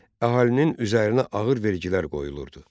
Əhalinin üzərinə ağır vergilər qoyulurdu.